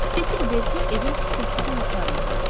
Sesil Berker evin istəkli qonaqlarındandır.